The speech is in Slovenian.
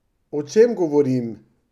O čem govorim?